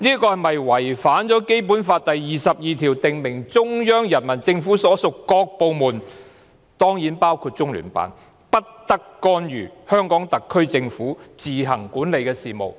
這是否違反了《基本法》第二十二條訂明，中央人民政府所屬各部門——當然包括中聯辦——不得干預香港特區政府管理的事務？